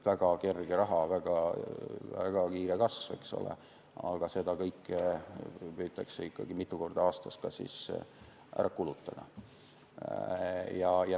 Väga kerge raha, väga kiire kasv, aga seda kõike püütakse ikkagi mitu korda aastas ka ära kulutada.